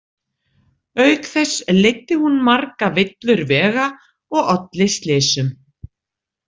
Auk þess leiddi hún marga villur vega og olli slysum.